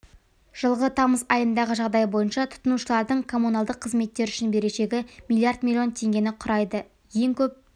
жылғы тамыз айындағы жағдай бойынша тұтынушылардың коммуналдық қызметтер үшін берешегі миллиард миллион теңгені құрайды ең көп